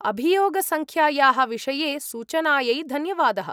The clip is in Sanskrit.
अभियोगसङ्ख्यायाः विषये सूचानायै धन्यवादः।